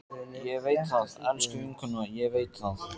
Ég veit það, elsku vinkona, ég veit það.